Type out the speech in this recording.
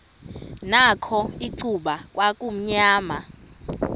nakho icuba kwakumnyama